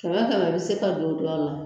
kɛmɛ kɛmɛ bɛ se ka don o dɔw la